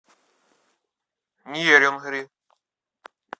нерюнгри